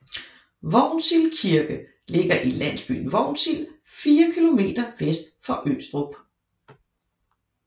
Vognsild Kirke ligger i landsbyen Vognsild 4 km vest for Østrup